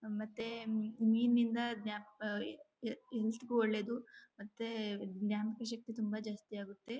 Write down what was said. ಮತ್ತೆ ಮೀನಿಂದ ಜ್ಞಾಪಿ ಆ ಈ ಹೆಲ್ತ್ ಗು ಒಳ್ಳೇದು ಮತ್ತೆ ಜ್ಞಾಪಕ ಶಕ್ತಿ ತುಂಬಾ ಜಾಸ್ತಿ ಆಗುತ್ತೆ.